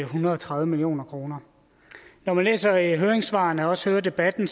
hundrede og tredive million kroner når man læser høringssvarene og også hører debatten